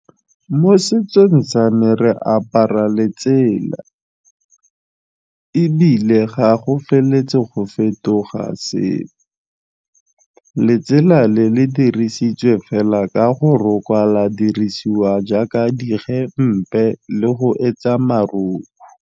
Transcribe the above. Mo setsong sa me re apara letsela ebile ga go feletse go fetoga sepe, letsela le le dirisitswe fela ka go rokwa, la dirisiwa jaaka digempe le go etsa marukhu.